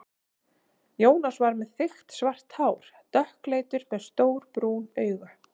Jónas var með þykkt svart hár, dökkleitur, með stór brún augu.